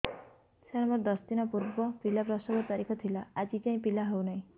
ସାର ମୋର ଦଶ ଦିନ ପୂର୍ବ ପିଲା ପ୍ରସଵ ର ତାରିଖ ଥିଲା ଆଜି ଯାଇଁ ପିଲା ହଉ ନାହିଁ